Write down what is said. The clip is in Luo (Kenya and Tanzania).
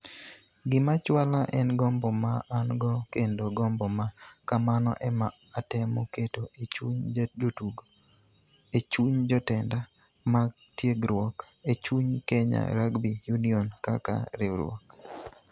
"Gima chwala en gombo ma an-go kendo gombo ma kamano ema atemo keto e chuny jotugo, e chuny jotenda mag tiegruok, e chuny Kenya Rugby Union kaka riwruok".